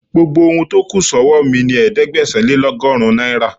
Gbogbo ohun tó kù sọ́wọ́ mi ni ẹ̀ẹ́dẹ́gbẹ̀sán-lé-lọ́gọ́rin náírà..